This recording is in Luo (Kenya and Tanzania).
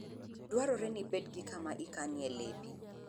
Dwarore ni ibed gi kama ikanie lepi.